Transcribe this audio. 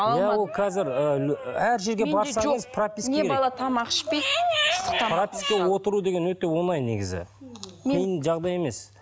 иә ол қазір ііі әр жерге барсаңыз прописка керек не бала тамақ ішпейді пропискаға отыру деген өте оңай негізі қиын жағдай емес